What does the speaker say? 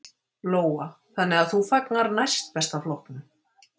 Lóa: Þannig að þú fagnar Næst besta flokknum?